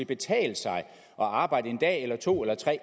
betale sig at arbejde en eller to eller tre